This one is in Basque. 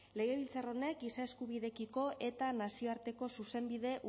legebiltzar honek giza eskubideekiko eta nazioarteko zuzenbide